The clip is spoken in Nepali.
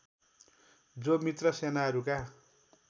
जो मित्र सेनाहरूका